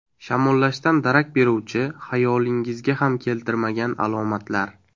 Shamollashdan darak beruvchi, xayolingizga ham keltirmagan alomatlar.